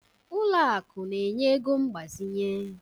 Ụlọ akụ na-enye ego mgbazinye